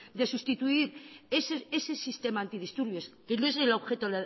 de sustituir ese sistema antidisturbios que no es el objeto